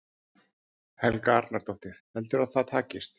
Helga Arnardóttir: Heldurðu að það takist?